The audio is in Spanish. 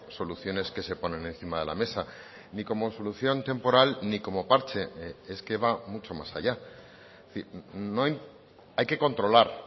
soluciones que se ponen encima de la mesa ni como solución temporal ni como parche es que va mucho más allá hay que controlar